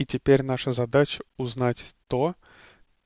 и теперь наша задача узнать то